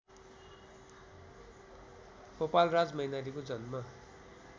गोपालराज मैनालीको जन्म